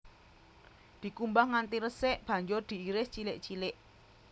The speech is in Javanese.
Dikumbah nganti resik banjur diiris cilik cilik